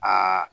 Aa